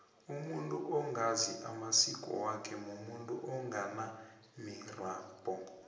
umuntu ongazi amasiko wakhe mumuntu onganamirabhu